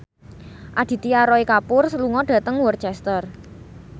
Aditya Roy Kapoor lunga dhateng Worcester